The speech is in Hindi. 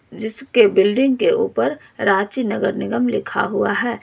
जिसके बिल्डिंग के ऊपर रांची नगर निगम लिखा हुआ है।